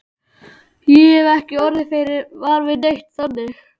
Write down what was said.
Ég hef ekki orðið var við neitt, þannig.